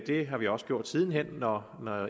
det har vi også gjort siden hen når